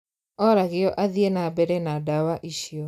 Oragio athiĩ na mbere na ndawa icio